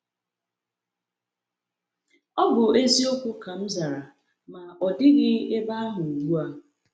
“Ọ bụ eziokwu,” ka m zara, “ma ọ dịghị ebe ahụ ugbu a.”